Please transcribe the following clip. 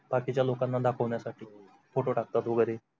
बाकीच्या लोकांना दाखवण्या हो साठी फोटो टाकतात वगेरे